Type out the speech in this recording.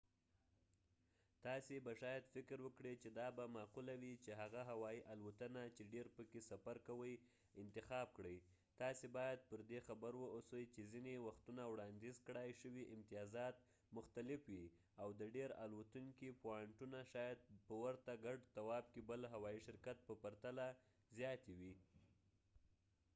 تاسې به شاید فکر وکړئ چې دا به معقوله وي چې هغه هوایی الوتنه چې ډیر پکې سفر کوئ انتخاب کړئ تاسې باید پر دې خبر واوسئ چې ځینې وختونه وړاندیز کړای شوي امتیازات مختلف وي او د ډیر الوتونکي پوانټونه شاید په ورته ګډ تواف کې بل هوایي شرکت په پرتله زیاتې وي